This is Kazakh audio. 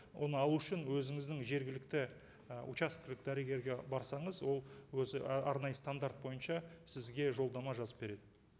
оны алу үшін өзіңіздің жергілікті і учаскелік дәрігерге барсаңыз ол өзі ы арнайы стандарт бойынша сізге жолдама жазып береді